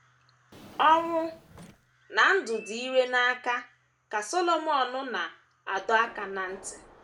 “ Ọnwụ na ndụ dị ire n’aka, ” ka Solomọn na - adọ aka ná ntị.